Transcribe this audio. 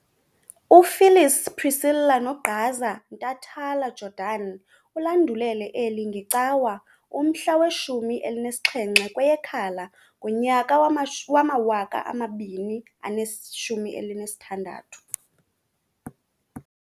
Phyllis Priscilla "Nogqaza" Ntatala-Jordan ulandulele eli ngeCawa, umhla we-17 kweyeKhala ngonyaka wama-2016.